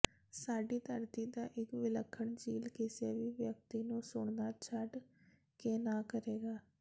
ਸਾਡੀ ਧਰਤੀ ਦਾ ਇੱਕ ਵਿਲੱਖਣ ਝੀਲ ਕਿਸੇ ਵੀ ਵਿਅਕਤੀ ਨੂੰ ਸੁਣਨਾ ਛੱਡ ਕੇ ਨਾ ਕਰੇਗਾ